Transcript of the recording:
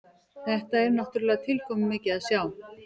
Þetta er náttúrulega tilkomumikið að sjá